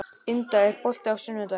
Inda, er bolti á sunnudaginn?